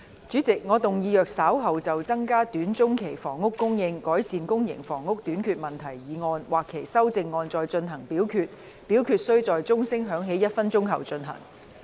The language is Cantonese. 主席，我動議若稍後就"增加短中期房屋供應，改善公營房屋短缺問題"所提出的議案或修正案再進行點名表決，表決須在鐘聲響起1分鐘後進行。